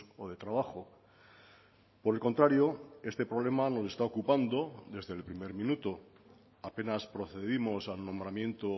o de trabajo por el contrario este problema nos está ocupando desde el primer minuto apenas procedimos al nombramiento